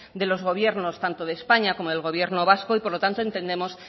de los gobiernos tanto de españa como del gobierno vasco y por lo tanto entendemos